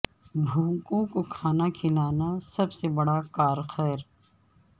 بھوکوں کو کھانا کھلانا سب سے بڑا کار خیر